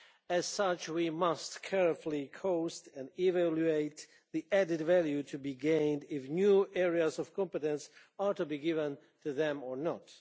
As such, we must carefully cost and evaluate the added value to be gained if new areas of competence are to be given to them or not.